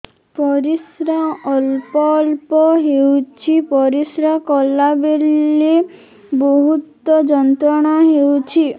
ପରିଶ୍ରା ଅଳ୍ପ ଅଳ୍ପ ହେଉଛି ପରିଶ୍ରା କଲା ବେଳେ ବହୁତ ଯନ୍ତ୍ରଣା ହେଉଛି